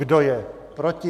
Kdo je proti?